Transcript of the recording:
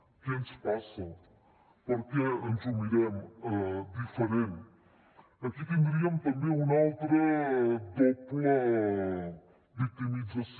què ens passa per què ens ho mirem diferent aquí tindríem també una altra doble victimització